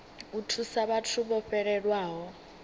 u thusa vhathu vho fhelelwaho